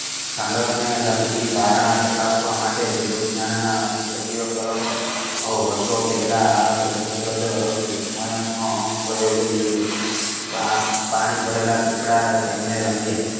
ઠંડક ને લગતી ધારણા ચકાસવા માટે જૈવવિજ્ઞાન સભ્ય કારણ માં બોવ વર્ષો પહેલા આ યોજના પર પ્રયોગ યોજિયો પાણી ભરેલા પીપળા તેમને રંગીયા